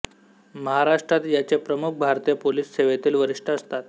महाराष्ट्रात याचे प्रमुख भारतीय पोलीस सेवेतील वरिष्ठ असतात